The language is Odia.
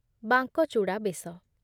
ବାଙ୍କଚୂଡ଼ା ବେଶ